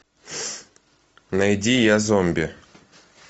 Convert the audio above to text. найди я зомби